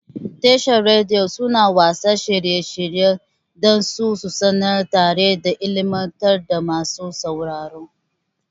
Tashar Radiyo suna watsa shirye-shirye dan su sanar tare da ilimantar da masu sauraro.